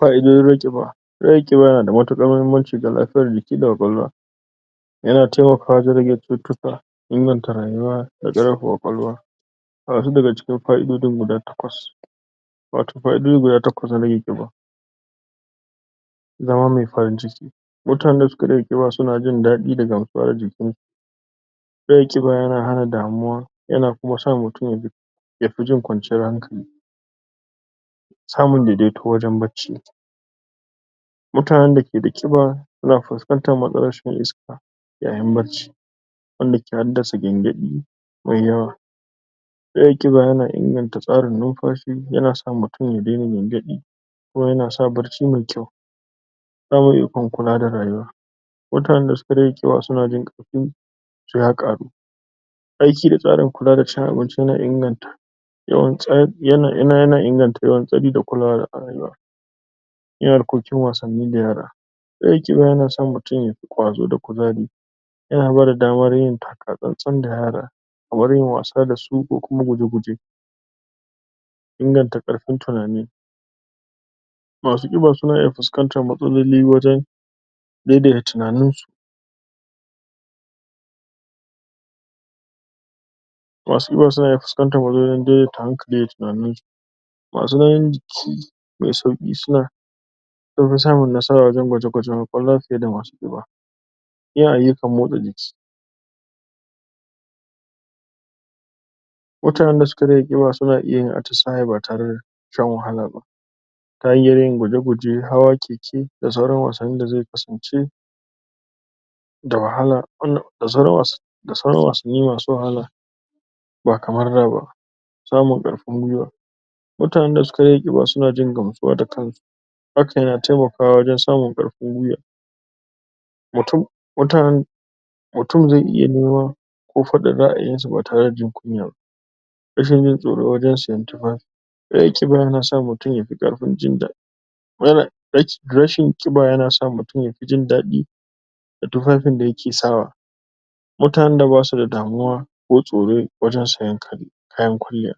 Fa'idojin rage ƙiba: Rage ƙiba yana da matuƙar muhimmanci ga lafiyar jiki da ƙwaƙwalwa. Yana taimakawa wajen rage cututtuka, inganta rayuwa, ƙwaƙwalwa. Ga wasu daga cikin fa'idojin guda takwas. Wato fa'idoji guda takwas na rage ƙiba. Zama mai farin ciki. Mutanen da suka rage ƙiba, suna jin daɗi da gamsuwa da jikinsu. Rage ƙiba yana hana damuwa. Yana kuma sa mutum ya ji, ya fi jin kwanciyar hankali. Samun daidaito wajen bacci. Mutanen da ke da ƙiba suna fuskantar matsalar rashin iska yayin bacci. Wanda ke haddasa gyangyaɗi, mai yawa. Rage ƙiba yana inganta tsarin numfashi, yana sa mutum ya daina gyangyaɗi. kuma yana sa bacci mai kyau. Ƙarin ikon kula da rayuwa, Mutanen da suka rage ƙiba suna jin ƙarfinsu ya ƙaru. Aiki da tsarin kula da cin abinci yana inganta Yana inganta yawan tsari da kulawa a rayuwa. Yin harkokin wasanni da yara. Rage ƙiba yana sa mutum ya fi ƙwazo da kuzari. Yana ba da damar yin taka tsantsan da yara. kamar yin wasa da su, ko kuma guje-guje. Inganta ƙarfin tunani. Masu ƙiba suna iya fuskantar matsaloli wajen daidaita tunaninsu, Masu ƙiba suna fuskanta, wajen daidaita hankali da tunaninsu. Masu nauyin jiki mai sauƙi gaskiya an fi samun nasara wajen gwaje-gwajen ƙwaƙwalwa fiye da masu ƙiba. Yin ayyukan motsa jiki. Mutanen da suka rage ƙiba, suna iya yin atisaye ba tare shan wahala ba. Ta hanyoyin guje-guje, hawa keke da sauran wasannin da zai kasance da wahala um da sauran wasa da sauran wasanni masu wahala. ba kamar da ba. Samun ƙarfin guiwa. Mutanen da suka rage ƙiba suna jin gamsuwa da kansu, Hakan ya taimaka wajen samun ƙarfin guiwa um um Mutum zai iya nema ko faɗin ra'ayinsa ba tare da jin kunya ba. Rashin jin tsoro wajen siyen tufafi. ƙiba yana sa mutum ya fi ƙarfin Rashin ƙiba yana sa mutum ya fi jin daɗi, da tufafin da yake sawa. Mutanen da ba su da damuwa ko tsoro wajen siyen kaya, ko kayan kwalliyaɓ